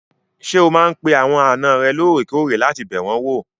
Ṣé o máa n pe àwọn àna rẹ lóòrèkóòrè láti bẹ̀ wọ́n wò?